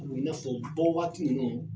I n'a fɔ bɔwaati ninnu